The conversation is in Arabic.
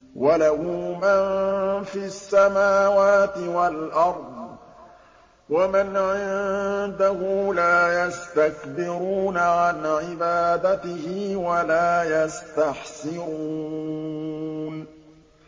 وَلَهُ مَن فِي السَّمَاوَاتِ وَالْأَرْضِ ۚ وَمَنْ عِندَهُ لَا يَسْتَكْبِرُونَ عَنْ عِبَادَتِهِ وَلَا يَسْتَحْسِرُونَ